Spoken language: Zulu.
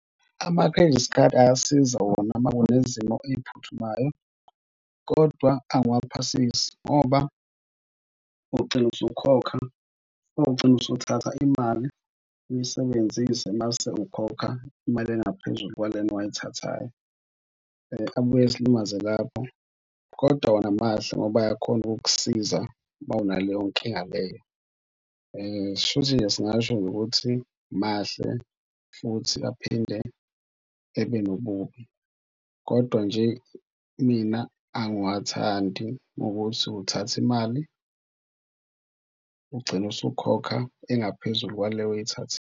Ama-credit card ayasiza wona uma kunezimo ey'phuthumayo kodwa angiwaphasisi ngoba ugcine usukhokha, ugcine usuthatha imali uyisebenzise mase ukhokha imali engaphezulu kwalena owayithathayo. Abuye esilimaze lapho, kodwa wona mahle, ngoba ayakhona ukukusiza uma naleyo nkinga leyo. Shuthi nje singasho ukuthi mahle futhi aphinde ebe nobubi, kodwa nje mina angiwathandi ukuthi uthatha imali ugcine usukhokha engaphezulu kwale oyithathile.